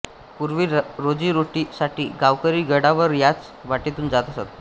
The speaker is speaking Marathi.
पूर्वी रोजी रोटी साठी गावकरी गडावर याच वाटेतून जात असत